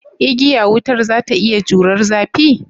Igiya wutar za ta iya jurar zafi?